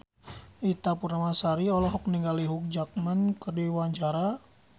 Ita Purnamasari olohok ningali Hugh Jackman keur diwawancara